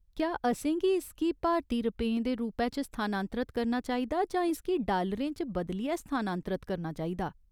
क्या असेंगी इसगी भारती रपेंऽ दे रूपै च स्थानांतरत करना चाहिदा जां इसगी डालरें च बदलियै स्थानांतरत करना चाहिदा ?